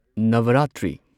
Navratri